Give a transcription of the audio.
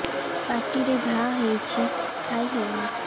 ପାଟିରେ ଘା ହେଇଛି ଖାଇ ହଉନି